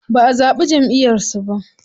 Baʼa zaɓi Jamʼiyar su ba.